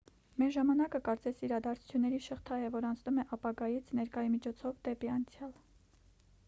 մեր ժամանակը կարծես իրադարձությունների շղթա է որն անցնում է ապագայից ներկայի միջով դեպի անցյալ